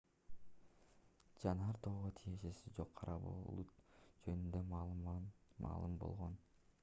жанар тоого тиешеси жок кара булут жөнүндө маалым болгон